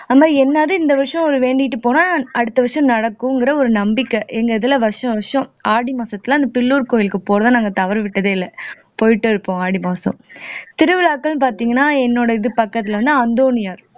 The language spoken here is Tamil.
அது மாதிரி என்னது இந்த வருஷம் வேண்டிட்டு போனா அடுத்த வருஷம் நடக்கும்கிற ஒரு நம்பிக்கை எங்க இதுல வருஷம் வருஷம் ஆடி மாசத்துல அந்த பில்லூர் கோயிலுக்கு போறதா நாங்க தவறவிட்டதே இல்ல போயிட்டே இருப்போம் ஆடி மாசம் திருவிழாக்கள் பார்த்தீங்கன்னா என்னோட இது பக்கத்துலன்னா அந்தோணியர்